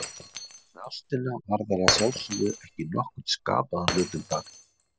En ástina varðar að sjálfsögðu ekki nokkurn skapaðan hlut um það.